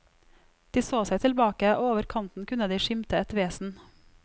De så seg tilbake, og over kanten kunne de skimte et vesen.